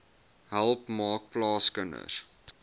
help maak plaaskinders